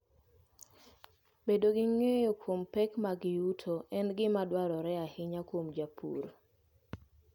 Bedo gi ng'eyo kuom pek mag yuto en gima dwarore ahinya kuom jopur.